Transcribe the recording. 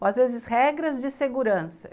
Ou às vezes regras de segurança.